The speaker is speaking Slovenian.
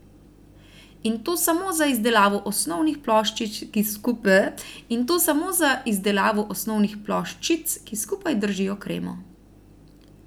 In to samo za izdelavo osnovnih ploščic, ki skupaj držijo kremo.